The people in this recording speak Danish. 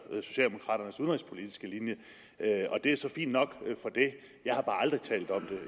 socialdemokraternes udenrigspolitiske linje og det er så fint nok men jeg har bare aldrig talt om